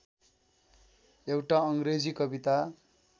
एउटा अङ्ग्रेजी कविता